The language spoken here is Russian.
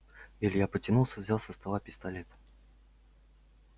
илья потянулся взял со стола пистолет